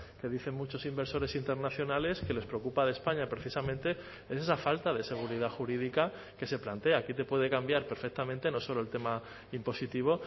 que dicen muchos inversores internacionales que les preocupa de españa precisamente es esa falta de seguridad jurídica que se plantea aquí te puede cambiar perfectamente no solo el tema impositivo